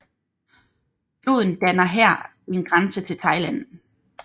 Floden danner her grænse til Thailand